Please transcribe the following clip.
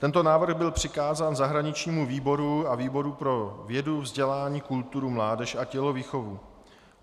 Tento návrh byl přikázán zahraničnímu výboru a výboru pro vědu, vzdělání, kulturu, mládež a tělovýchovu.